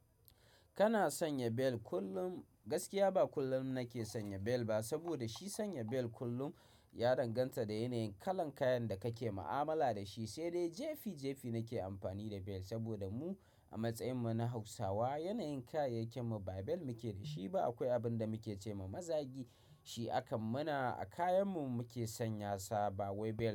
Kana sanya bel kullum gaskiya ba kullum nake sanya bel ba saboda shi sanya bel kullum ya danganta da yanayin kalan kayan da kake ma'amala da shi, sai dai jefi jefi nake amfani da bel saboda mu a matsayin mu na Hausawa yanayin kayayyakin mu ba bel muke da shi ba. Akwai abin da muke ce ma mazagi shi akan mana a kayan mu muke sanya sa ba wai bel.